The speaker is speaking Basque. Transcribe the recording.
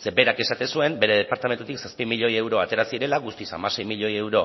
zeren berak esaten zuen bere departamentutik zazpi milioi euro atera zirela guztiz hamasei milioi euro